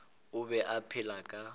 o be a phela ka